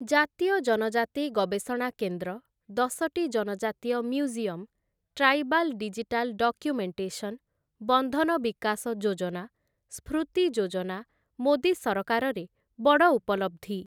ଜାତୀୟ ଜନଜାତି ଗବେଷଣା କେନ୍ଦ୍ର, ଦଶଟି ଜନଜାତୀୟ ମ୍ୟୁଜିୟମ୍‌, ଟ୍ରାଇବାଲ୍‌ ଡିଜିଟାଲ୍‌ ଡକ୍ୟୁମେଣ୍ଟେସନ, ବନ୍ଧନ ବିକାଶ ଯୋଜନା, ସ୍ଫୃତି ଯୋଜନା ମୋଦି ସରକାରରେ ବଡ଼ ଉପଲବ୍ଧି ।